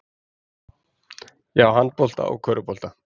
Já, handbolta og körfubolta.